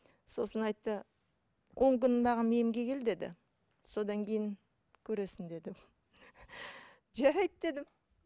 сосын айтты он күн маған емге кел деді содан кейін көресің деді жарайды дедім